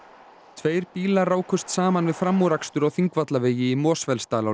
tveir bílar rákust saman við framúrakstur á Þingvallavegi í Mosfellsdal á